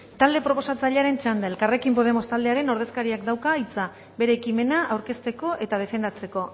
talde proposatzailearen txanda elkarrekin podemos taldearen ordezkariak dauka hitza bere ekimena aurkezteko eta defendatzeko